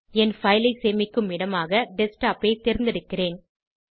என் file ஐ சேமிக்கும் இடமாக டெஸ்க்டாப் ஐ தேர்ந்தெடுக்கிறேன்